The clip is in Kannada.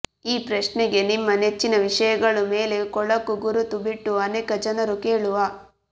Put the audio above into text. ಈ ಪ್ರಶ್ನೆಗೆ ನಿಮ್ಮ ನೆಚ್ಚಿನ ವಿಷಯಗಳು ಮೇಲೆ ಕೊಳಕು ಗುರುತು ಬಿಟ್ಟು ಅನೇಕ ಜನರು ಕೇಳುವ